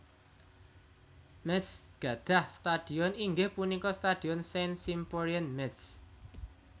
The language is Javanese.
Métz gadhah stadhion inggih punika Stadhion Saint Symphorien Métz